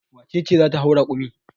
Wace ce za ta hau rakumi?